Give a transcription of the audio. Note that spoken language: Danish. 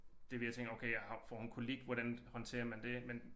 Det vi har tænkt okay og får hun kolik hvordan håndterer man det men